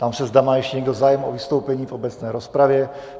Ptám se, zda má ještě někdo zájem o vystoupení v obecné rozpravě.